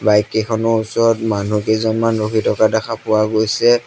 Bike কেইখনৰ ওচৰত মানুহ কেইজনমান ৰখি থকা দেখা পোৱা গৈছে।